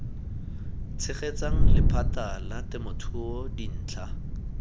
tshegetsang lephata la temothuo dintlha